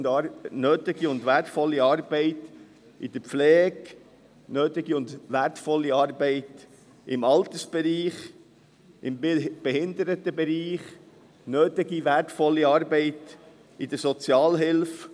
nötige und wertvolle Arbeit in der Pflege, im Altersbereich, im Behindertenbereich, in der Sozialhilfe.